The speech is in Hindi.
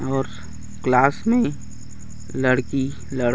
और क्लास में लड़की-लड़का--